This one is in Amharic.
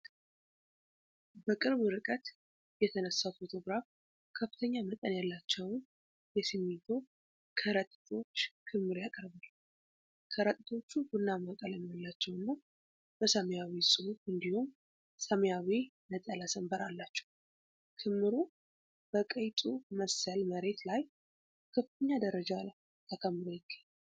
በቅርብ ርቀት የተነሳው ፎቶግራፍ ከፍተኛ መጠን ያላቸውን የሲሚንቶ ከረጢቶች ክምር ያቀርባል። ከረጢቶቹ ቡናማ ቀለም ያላቸው እና በሰማያዊ ጽሑፍ እንዲሁም ሰማያዊ ነጠላ ሰንበር አላቸው። ክምሩ በቀይ ጡብ መሰል መሬት ላይ በከፍተኛ ደረጃ ተከምሮ ይገኛል።